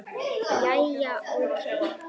Jæja, ókei.